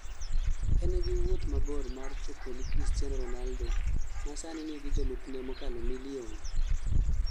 engi wuoth mabor mar choponi Christiano ronaldo ma sani nigi jolupne mokalo milion